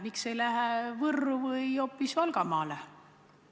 Miks see ei lähe Võrru või hoopis Valgamaale?